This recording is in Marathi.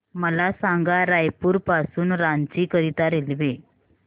मला सांगा रायपुर पासून रांची करीता रेल्वे